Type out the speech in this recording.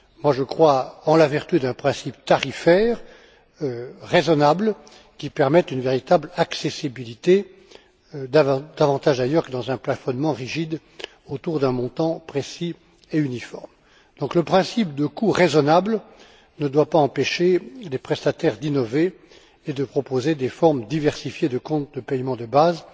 Je crois en la vertu d'un principe tarifaire raisonnable, qui permette une véritable accessibilité, davantage d'ailleurs qu'en un plafonnement rigide autour d'un montant précis et uniforme. Le principe de coût raisonnable ne doit donc pas empêcher les prestataires d'innover et de proposer des formes diversifiées de compte de paiement de base